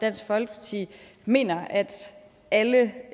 dansk folkeparti mener at alle